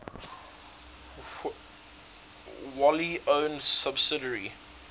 wholly owned subsidiary